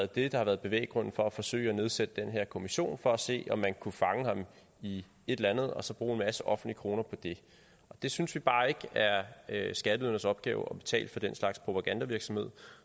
det der har været bevæggrunden for at forsøge at nedsætte den her kommission altså for at se om man kunne fange ham i et eller andet og så bruge en masse offentlige kroner på det vi synes bare ikke at det er skatteydernes opgave at betale for den slags propagandavirksomhed